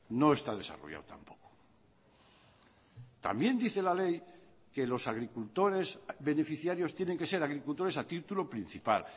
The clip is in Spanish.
no está desarrollado tampoco también dice la ley que los agricultores beneficiarios tienen que ser agricultores a título principal